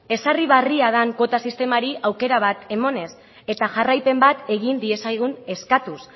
ezarri berria den kuota sistemari aukera emanez eta jarraipen bat egin diezagun eskatuz